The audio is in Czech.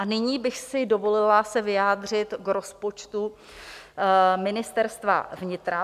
A nyní bych si dovolila se vyjádřit k rozpočtu Ministerstva vnitra.